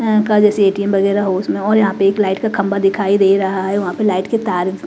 ATM वगैरा होश में हों और यहां पे एक लाइट का खंभा दिखाई दे रहा है वहां पे लाइट के तार--